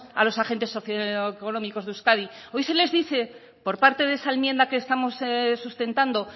a los agentes socioeconómicos de euskadi hoy se les dice por parte de esa enmienda que estamos sustentando